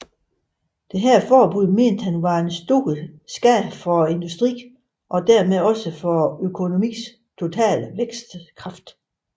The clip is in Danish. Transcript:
Dette forbud mente han var til stor skade for industrien og dermed også for økonomiens totale vækstkraft